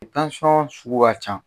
sugu ka ca